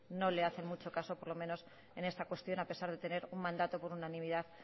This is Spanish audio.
no le hacen mucho caso por lo menos en esta cuestión a pesar de tener un mandato por unanimidad